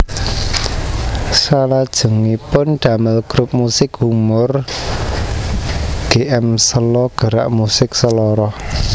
Salajengipun damel grup musik humor Gmselo Gerak Musik Seloroh